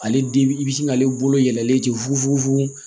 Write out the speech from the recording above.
Ale dibi i bi se k'ale bolo yɛlɛlen ten fu fu